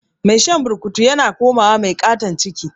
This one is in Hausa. Mai shan burkutu yana komawa mai katan ciki